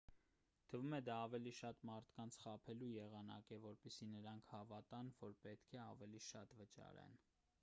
թվում է դա ավելի շատ մարդկանց խաբելու եղանակ է որպեսզի նրանք հավատան որ պետք է ավելի շատ վճարեն